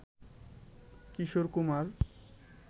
Kishore Kumar